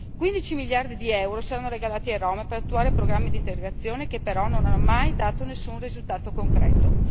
Quindici miliardi di euro saranno regalati ai Rom per attuare programmi d'integrazione, che però non hanno mai dato nessun risultato concreto.